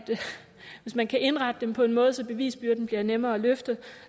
hvis man kan indrette dem på en måde så bevisbyrden bliver nemmere at løfte